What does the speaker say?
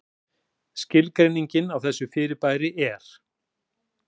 Skilgreining á þessu fyrirbæri er: